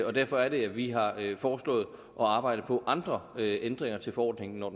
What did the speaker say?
og derfor er det at vi har foreslået at arbejde på andre ændringer til forordningen når